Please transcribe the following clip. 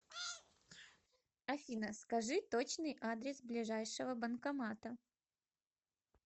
афина скажи точный адрес ближайшего банкомата